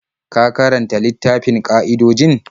Ka karanta littafin ƙa'idojin?